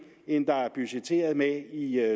end der er budgetteret med i